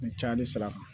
N cayalen sira kan